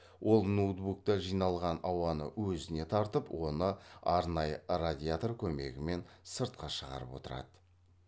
ол ноутбукта жиналған ауаны өзіне тартып оны арнайы радиатор көмегімен сыртқа шығарып отырады